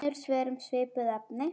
Önnur svör um svipuð efni